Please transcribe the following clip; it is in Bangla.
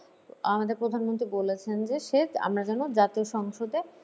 আমাদের প্রধানমন্ত্রী বলেছেন যে আমরা যেন জাতীয় সংসদে